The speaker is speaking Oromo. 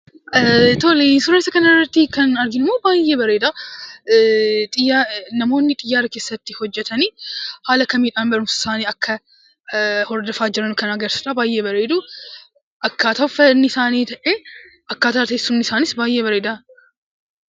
Suuraa isa kanarratti kan arginu baay'ee bareeda. Namoonni xiyyaara keessatti hojjatan haala kamiidhaan barumsa isaanii hordofaa akka jiran agarsiisaa. Baay'ee bareedu. Akkaataa uffanni isaaniis ta'ee akkataan teessuma isaanii baay'ee bareeda.